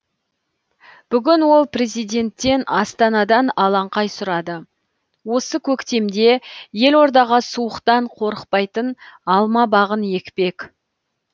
бүгін ол президенттен астанадан алаңқай сұрады осы көктемде елордаға суықтан қорықпайтын алма бағын екпек